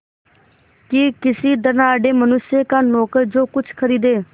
कि किसी धनाढ़य मनुष्य का नौकर जो कुछ खरीदे